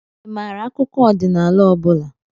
Ị maara akụkọ ọdịnala ọ bụla?